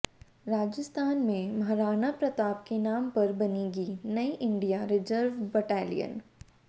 राजस्थान में महाराणा प्रताप के नाम पर बनेगी नई इंडिया रिजर्व बटालियन